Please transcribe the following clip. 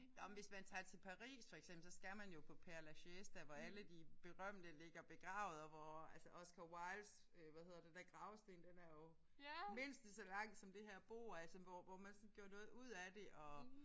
Nåh men hvis man tager til Paris for eksempel så skal man jo på Père-Lachaise der hvor alle de berømte ligger begravet og hvor altså Oscar Wildes hvad hedder den der gravsten den er jo mindst ligeså lang som det her bord altså hvor hvor man sådan gjorde noget ud af det og